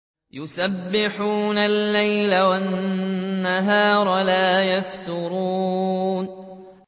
يُسَبِّحُونَ اللَّيْلَ وَالنَّهَارَ لَا يَفْتُرُونَ